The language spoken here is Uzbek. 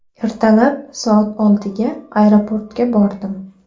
Ertalab soat oltiga aeroportga bordim.